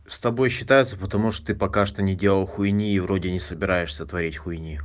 с тобой считаются потому что ты пока что не делал хуйни и вроде не собираешься творить хуйни